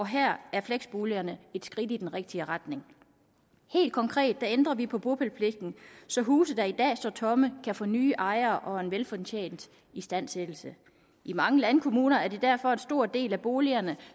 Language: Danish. her er fleksboligerne et skridt i den rigtige retning helt konkret ændrer vi på bopælspligten så huse der i dag står tomme kan få nye ejere og en velfortjent istandsættelse i mange landkommuner er det derfor en stor del af boligerne